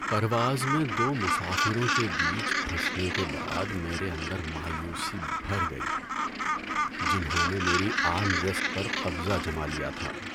‏پرواز میں دو مسافروں کے بیچ پھنسنے کے بعد میرے اندر مایوسی بھر گئی جنہوں نے میری آرم ریسٹ پر قبضہ جما لیا تھا۔